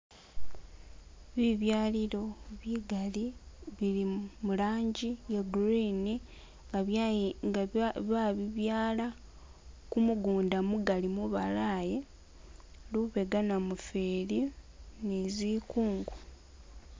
Bibyalilo bigaali bili mu rangi iye green nga byayi nga ba ba babibyaala kumugunda mugaali mubalayi , lubega namufeli ni zikungu.